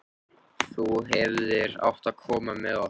Þú hefðir átt að koma með okkur!